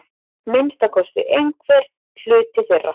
Minnsta kosti einhver hluti þeirra.